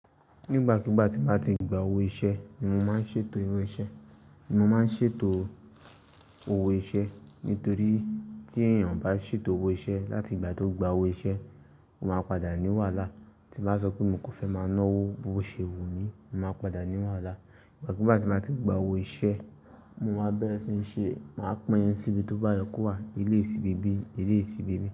Nígbàkúgbà tí màá ti gba owó iṣẹ́ ni mo máa ń ṣètò irú iṣẹ́, mo máa ń ṣètò owó iṣẹ́. Nítorí tí èèyàn bá ṣètò owó iṣẹ́ láti ìgbà tó gba owó iṣẹ́, ó máa padà ní wàhálà. Tí bá sọ pé mi kò fẹ́ máa ná owó, owó ṣe wù mí, màá padà ní wàhálà. Nígbàkúgbà tí màá ti gba owó iṣẹ́, mo máa bẹ̀rẹ̀ síí ṣe, màá pẹ́yìn síbi tó bá ye kowà, ilé sì bèbí, ilé sì bèbí.